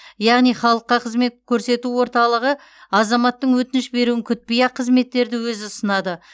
яғни халыққа қызмет көрсету орталығы азаматтың өтініш беруін күтпей ақ қызметтерді өзі ұсынады